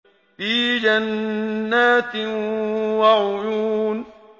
فِي جَنَّاتٍ وَعُيُونٍ